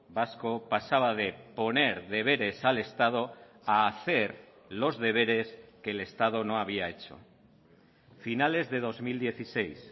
vasco pasaba de poner deberes al estado a hacer los deberes que el estado no había hecho finales de dos mil dieciséis